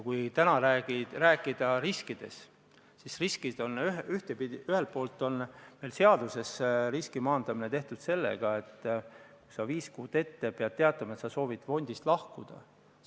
Kui täna rääkida riskidest, siis ühelt poolt on seaduses riski maandamine tehtud sellega, et inimene peab viis kuud ette teatama, et ta soovib fondist lahkuda.